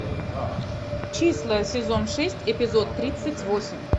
числа сезон шесть эпизод тридцать восемь